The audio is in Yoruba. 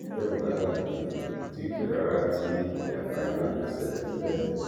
tẹ ò bá gbàgbé kò tí ì pẹ rárá tí ìjàmbá iná kan ṣẹlẹ níbẹ